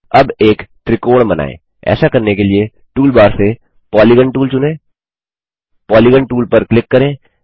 अब एक त्रिकोण बनाएँ ऐसा करने के लिए टूल बार से पॉलीगॉन टूल चुनें पॉलीगॉन टूल पर क्लिक करें